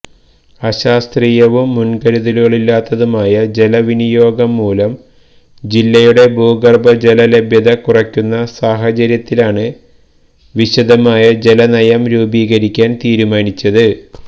അശാസ്ത്രീയവും മുൻകരുതലുകളുമില്ലാത്ത ജലവിനിയോഗം മൂലം ജില്ലയുടെ ഭൂഗർഭ ജല ലഭ്യത കുറയുന്ന സാഹചര്യത്തിലാണ് വിശദമായ ജല നയം രൂപീകരിക്കാൻ തിരുമാനിച്ചത്